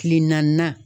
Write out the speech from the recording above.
Kile naani